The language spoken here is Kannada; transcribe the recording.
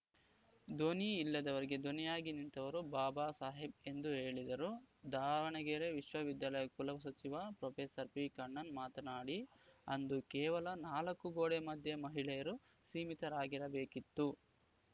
ಧ್ವನಿ ಇಲ್ಲದವರಿಗೆ ಧ್ವನಿಯಾಗಿ ನಿಂತವರು ಬಾಬಾ ಸಾಹೇಬ್‌ ಎಂದು ಹೇಳಿದರು ದಾವಣಗೆರೆ ವಿಶ್ವ ವಿದ್ಯಾಲಯ ಕುಲ ಸಚಿವ ಪ್ರೊಫೆಸರ್ ಪಿಕಣ್ಣನ್‌ ಮಾತನಾಡಿ ಅಂದು ಕೇವಲ ನಾಲ್ಕು ಗೋಡೆ ಮಧ್ಯೆ ಮಹಿಳೆಯರು ಸೀಮಿತರಾಗಿರಬೇಕಿತ್ತು